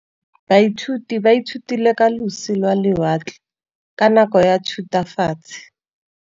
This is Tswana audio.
Baithuti ba ithutile ka losi lwa lewatle ka nako ya Thutafatshe.